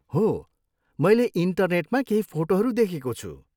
हो, मैले इन्टरनेटमा केही फोटोहरू देखेको छु।